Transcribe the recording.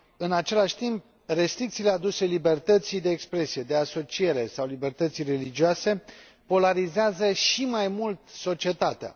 În același timp, restricțiile aduse libertății de expresie, de asociere sau libertății religioase polarizează și mai mult societatea.